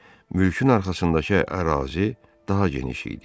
Mülkün arxasındakı ərazi daha geniş idi.